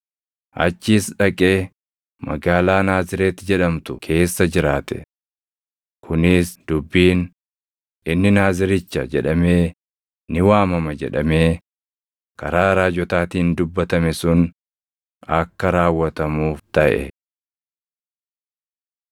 achis dhaqee magaalaa Naazreeti jedhamtu keessa jiraate. Kunis dubbiin, “Inni Naaziricha jedhamee ni waamama” jedhamee karaa raajotaatiin dubbatame sun akka raawwatamuuf taʼe.